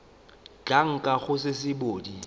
tla nkga go se sebodi